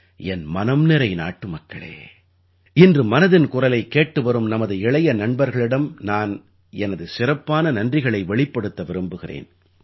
என் மனம் நிறை நாட்டுமக்களே இன்று மனதின் குரலைக் கேட்டுவரும் நமது இளைய நண்பர்களிடம் நான் எனது சிறப்பான நன்றிகளை வெளிப்படுத்த விரும்புகிறேன்